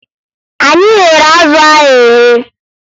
Anyị ghere azụ ahụ eghe